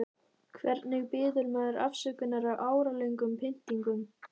Hvernig biður maður afsökunar á áralöngum pyntingum?